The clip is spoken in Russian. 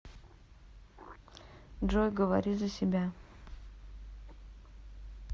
джой говори за себя